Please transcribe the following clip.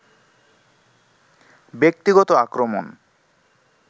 ব্যক্তিগত আক্রমণ